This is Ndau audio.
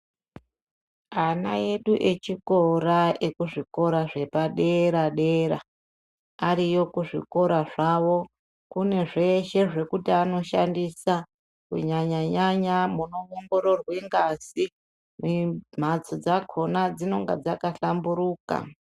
Ana edu echikora , ekuzvikora zvepadera-dera. Ariyo kuzvikora zvavo, kune zveshe zvekuti anoshandisa, kunyanya-nyanya munoongororwe ngazi ne mhatso dzakhona dzinenge dzakahlamburuka.